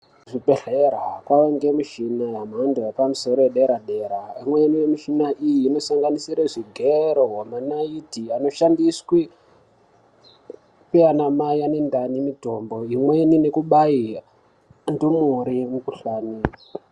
Kuzvibhehlera kwange mishina yemhando yepamusoro yedera-dera imweni yemishina iyi inosanganisira zvigero, manaiti anoshandiswe ndiana mai ane ndani mitombo imweni nekubaye ndumure mikhuhlani